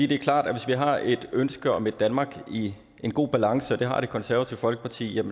det er klart at hvis vi har et ønske om et danmark i en god balance og det har det konservative folkeparti